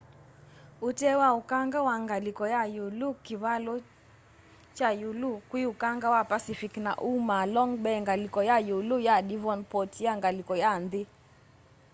utee wa ukanga wa ngaliko ya ĩulu kivalo cha ĩulu kwĩ ukanga wa pacific na umaa long bay ngaliko ya ĩulu ya devonport ya ngaliko ya nthi